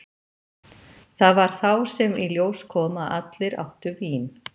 Það var þá sem í ljós kom að allir áttu vín.